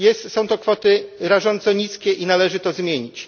Są to kwoty rażąco niskie i należy to zmienić.